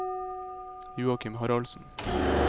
Joakim Haraldsen